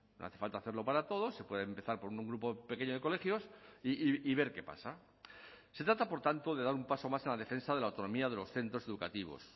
no hace falta hacerlo para todos se puede empezar por un grupo pequeño de colegios y ver qué pasa se trata por tanto de dar un paso más en la defensa de la autonomía de los centros educativos